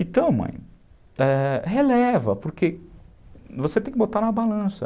Então, mãe, releva, é, porque você tem que botar na balança.